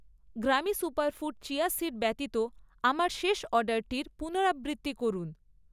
গ্রামি superfood chia seed ব্যতীত আমার শেষ অর্ডারটির পুনরাবৃত্তি করুন।